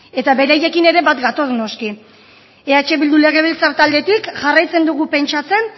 eta beraiekin ere bat gatoz noski eh bildu legebiltzar taldetik jarraitzen dugu pentsatzen